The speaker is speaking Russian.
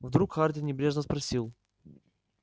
вдруг хардин небрежно спросил